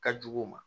Ka jugu u ma